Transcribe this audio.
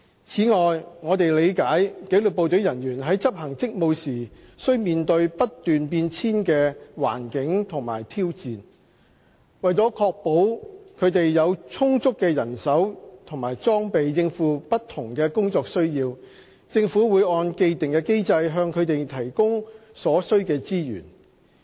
此外，我們理解紀律部隊人員在執行職務時需面對不斷變遷的環境和挑戰，為確保他們有充足的人手和裝備應付不同的工作需要，政府會按既定機制向他們提供所需的資源。